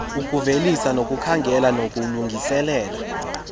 ukuvelisa nokukhangela nokulungiselela